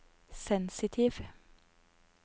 sensitiv